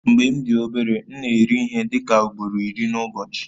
Mgbe m dị obere, m na-eri ihe dị ka ugboro iri n'ụbọchị